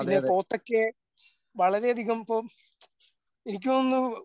പിന്നെ പോത്തൊക്കെ വളരെയധികം ഇപ്പം എനിക്ക് തോന്നുന്നു